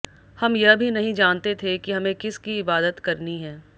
हम यह भी नहीं जानते थे कि हमें किस की इबादत करनी है